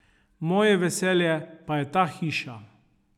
Moje veselje pa je ta hiša.